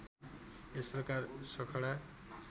यस प्रकार सखडा